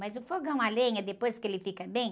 Mas o fogão a lenha, depois que ele fica bem...